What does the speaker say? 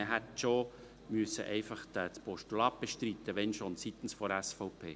Man hätte, wenn schon, das Postulat seitens der SVP bestreiten müssen.